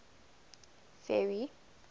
ferry